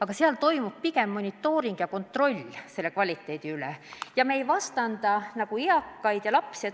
Aga seal toimub pigem monitooring, pidev kvaliteedi kontroll ja seal ei vastandata eakaid ja lapsi.